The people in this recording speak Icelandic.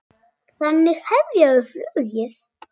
Þannig hefja þau flugið.